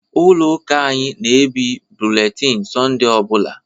Ụlọ ụka anyị na-ebie bụletini Sọnde ọ bụla.